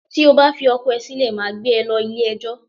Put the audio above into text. Tí o bá fi ọkọ ẹ sílè, màá gbé e lọ ilẹ̀ ẹjọ́